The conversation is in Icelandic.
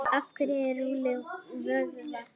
af hverju að rúlla vöðva